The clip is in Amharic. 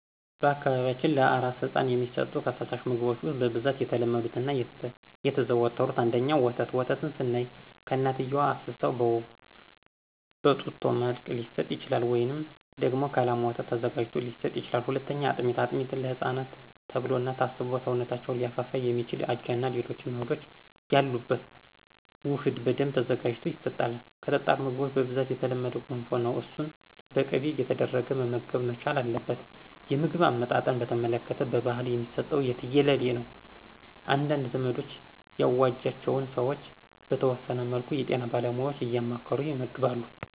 በአካባቢያችን ለአራስ ህፃን የሚሰጡ ከፈሳሽ ምግቦች ውስጥ በብዛት የተለመዱት እና የተዘወተሩት፦ ፩) ወተት፦ ወተትን ስናይ ከእናትየዋ አፍስሰው በጡጦ መስጠት ሊሆን ይችላል፤ ወይም ደግሞ ከላም ወተት ተዘጋጅቶ ሊሰጥ ይችላል። ፪) አጥሜት፦ አጥሜት ለህፃናት ተብሎ እና ታስቦ ሰውነታቸውን ሊያፋፋ የሚችል አጃ እና ሌሎች እህሎች ያሉበት ውህድ በደንብ ተዘጋጅቶ ይሰጣል። ከጠጣር ምግቦች በብዛት የተለመደው ገንፎ ነው እሱን በቅቤ እየተደረገ መመገብ መቻል አለበት። የምግብ አሰጣጥን በተመለከተ በባህል የሚሰጠው የትየለሌ ነው። አንዳንድ ዘመኑ ያዋጃቸው ሰዎች በተወሰነ መልኩ የጤና ባለሙያዎችን እያማከሩ ይመግባሉ።